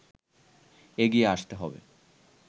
এগিয়ে আসতে হবে”